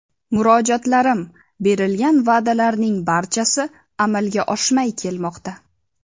Murojaatlarim, berilgan va’dalarning barchasi amalga oshmay kelmoqda.